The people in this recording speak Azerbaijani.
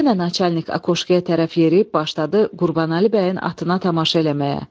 Yenə naçalnik akoşkaya tərəf yeriyib başladı Qurbanəli bəyin atına tamaşa eləməyə.